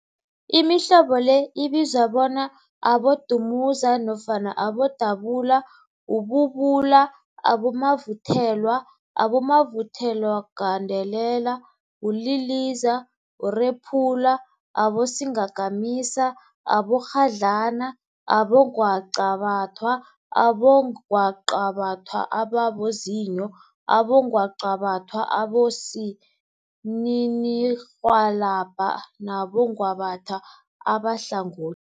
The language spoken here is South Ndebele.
Imihlobo le ibizwa bona, abodumuza, abodubula, ububula, abomavuthelwa, abomavuthelwagandelela, uliliza, urephula, abosingakamisa, abomakghadlana, abongwaqabathwa, abongwaqabathwa ababozinyo, abongwaqabathwa abosininirhwalabha nabongwaqabatha abahlangothi.